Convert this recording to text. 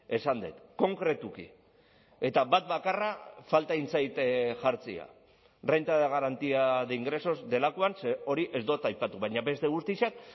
esan dut konkretuki eta bat bakarra falta egin zait jartzea renta de garantía de ingresos delakoan ze hori ez dut aipatu baina beste guztiak